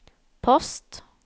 post